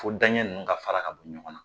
Fo daɲɛ nunnu ka fara ka bɔ ɲɔgɔn na .